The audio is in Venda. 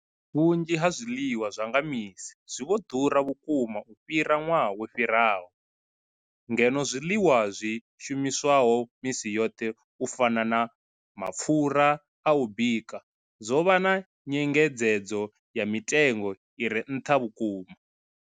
Vhunzhi ha zwiḽiwa zwa nga misi zwi vho ḓura vhukuma u fhira ṅwaha wo fhiraho, ngeno zwiḽiwa zwi shumiswaho misi yoṱhe u fana na mapfhura a u bika zwo vha na nyengedzedzo ya mitengo i re nṱha vhukuma.